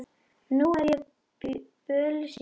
Nú er ég bölsýn.